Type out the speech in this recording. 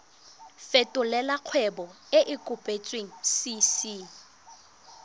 fetolela kgwebo e e kopetswengcc